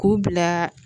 K'u bila